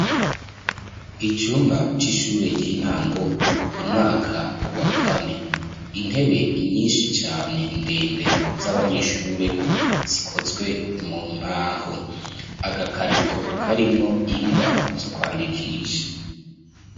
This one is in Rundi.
Icumba c'ishure ry'intango, umwaka wa kane. Intebe nyinshi cane ndende z'abanyeshure zikozwe mu mbaho. Agakarito karimwo ingwa zo kwandikisha.